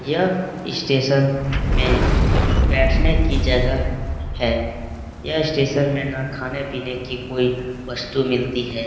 Station में बैठने की जगह है | यह स्टेशन में ना खाने पीने की कोई वस्तु मिलती है ।